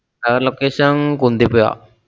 Tower location Kunthippuzha.